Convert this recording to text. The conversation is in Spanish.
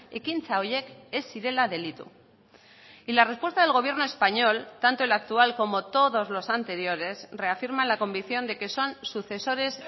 ekintza horiek ez zirela delitu y la respuesta del gobierno español tanto el actual como todos los anteriores reafirman la convicción de que son sucesores